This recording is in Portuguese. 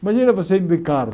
Imagina você indo de carro.